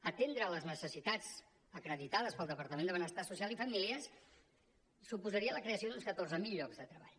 atendre les necessitats acreditades pel departament de benestar social i famílies suposaria la creació d’uns catorze mil llocs de treball